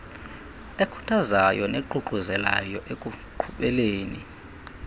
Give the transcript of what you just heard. ekhuthazayo neququzelayo ekuqhubeleni